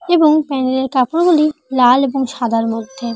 এবং প্যানেলের কাপড় গুলিলাল এবং সাদার মধ্যে।